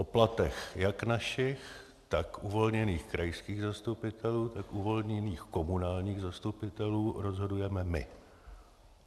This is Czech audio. O platech jak našich, tak uvolněných krajských zastupitelů, tak uvolněných komunálních zastupitelů, rozhodujeme my.